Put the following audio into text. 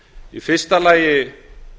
í fyrsta lagi